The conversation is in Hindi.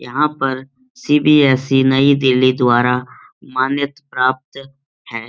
यहाँ पर सी.बी.एस.सी. नई दिल्ली द्वारा मान्यत् प्राप्त है।